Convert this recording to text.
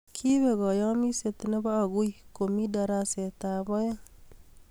Kiipek kaayamiset ne bo aguii komii daraset ab aeeng